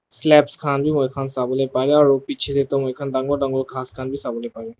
slabs khan bi moikhan sabo le pare aru piche te toh moikhan dangor dangor ghas khan bi sabole pare.